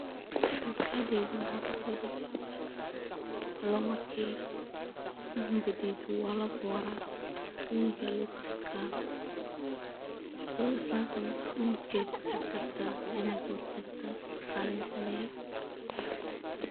Masqaxdey maxa kusodeci loo marka cunika dedoh walaboorah , igas lagu setka so islantan cunika kusetki rabatah Ina boortoh rabatah .